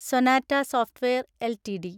Sonata software LTD